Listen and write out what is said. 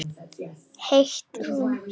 Heitt romm.